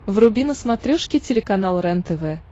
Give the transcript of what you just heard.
вруби на смотрешке телеканал рентв